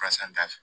Karisa t'a fɛ